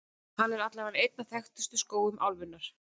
Hann er allavega einn af þekktustu skógum álfunnar.